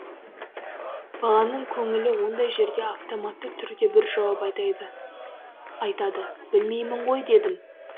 баланың көңілі ондай жерде автоматты түрде бір жауап айтады білмеймін ғой дедім